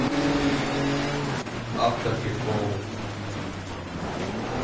автоприколы